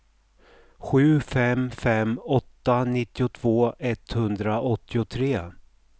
sju fem fem åtta nittiotvå etthundraåttiotre